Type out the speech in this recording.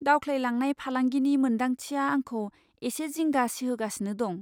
दावख्लायलांनाय फालांगिनि मोनदांथिया आंखौ एसे जिंगा सिहोगासिनो दं।